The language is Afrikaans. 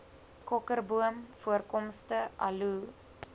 kokerboom voorkomste aloe